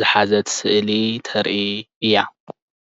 ዝሓዘት ስእሊ ተርኢ እያ